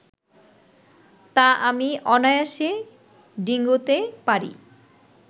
তা আমি অনায়াসে ডিঙোতে পারি